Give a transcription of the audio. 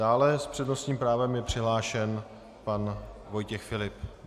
Dále s přednostním právem je přihlášen pan Vojtěch Filip.